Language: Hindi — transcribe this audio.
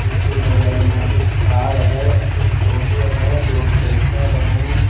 इसके बगल में एक कार है। एक टोटो है। दो ट्रैक्टर है।